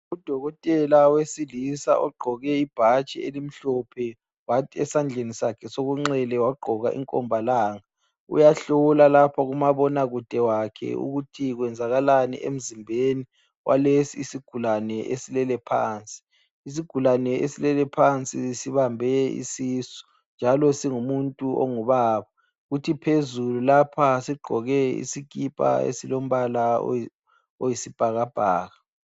Udokotela wesilisa ogqoke ibhatshi elimhlophe, kwathi esandleni sakhe sokunxele wagqoka inkombalanga..uyahlola lapha kumabona kude wakhe ukuthi kwezakalani emzimbeni walesi isigulane esilele phansi. Isigulane esilele phansi sibambe isisu. Njalo singumuntu ongubaba. Kuthi phezulu lapha sigqoke isikipa esilombala oyisibhakabhaka.